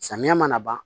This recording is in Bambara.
Samiya mana ban